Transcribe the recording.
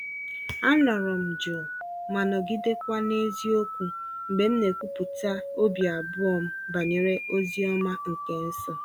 Anọrọ m jụụ ma nọgidekwa na eziokwu mgbe m na-ekwupụta obi abụọ m banyere ozi ọma nke nso.